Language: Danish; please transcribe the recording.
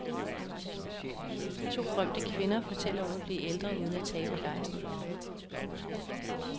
To berømte kvinder fortæller om at blive ældre uden at tabe gejsten.